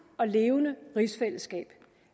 og levende rigsfællesskab